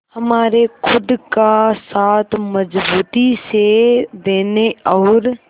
हमारे खुद का साथ मजबूती से देने और